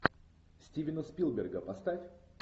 стивена спилберга поставь